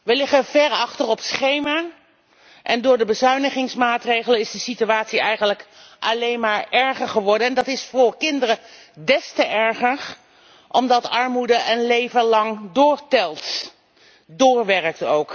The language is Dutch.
We liggen ver achter op schema en door de bezuinigingsmaatregelen is de situatie eigenlijk alleen maar erger geworden. Dat is voor kinderen des te erger omdat armoede een leven lang doorwerkt.